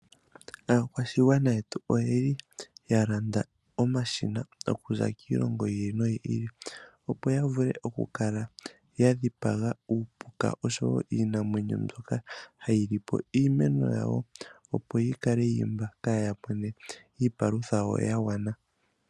Aakwashigwana yetu oyeli yalanda omashina okuza kiilongo yi ili noyi ili opo yavule oku kala yadhipa uupuka osho woo iinamwenyo mboka hayi lipo iimeno yawo opo yikale yiimba kaya mine iipalutha yagwana.